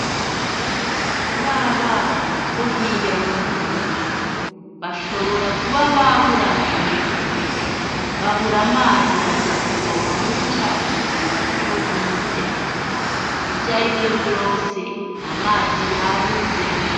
Babana bo hirya yo murugo bashobora kuba baburaniwe , babura amazi baja kuvoma muri cakiziba co hirya , ivyarivyo vyose amazi yabuze.